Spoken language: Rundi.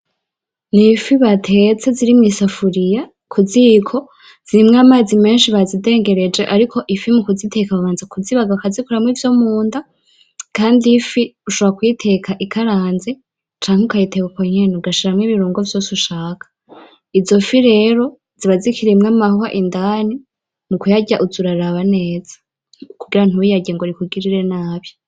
Ni ifi batetse ziri mw'isafuriya ku ziko, zirimwo amazi menshi bazidengereje ariko ifi mu kuziteka babanza kuzibaga bakazikuramo ivyo munda kandi ifi ushobora kuyiteka ikaranze canke ukayiteka uko nyene ugashiramo ibirungo vyose ushaka. Izo fi rero ziba zikirimo amahwa indani mu kuyarya uza uraraba neza kugira ntuyarye ngo akugirire nabi.